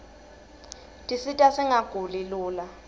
tisita singaguli lula